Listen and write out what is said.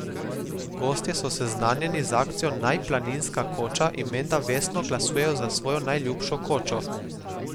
Gostje so seznanjeni z akcijo Naj planinska koča in menda vestno glasujejo za svojo najljubšo kočo.